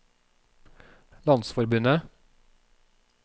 landsforbundet